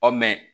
Ɔ mɛn